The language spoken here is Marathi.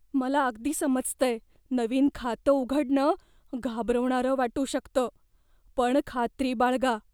मला अगदी समजतंय. नवीन खातं उघडणं घाबरवणारं वाटू शकतं, पण खात्री बाळगा.